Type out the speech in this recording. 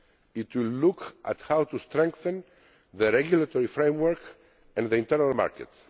It will look at how to strengthen the regulatory framework and the internal market.